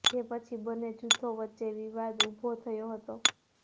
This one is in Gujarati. જે પછી બંને જૂથો વચ્ચે વિવાદ ઉભો થયો હતો